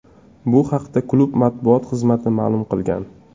Bu haqda klub matbuot xizmati ma’lum qilgan.